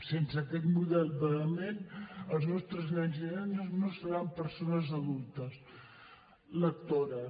sense aquest model vehement els nostres nens i nenes no seran persones adultes lectores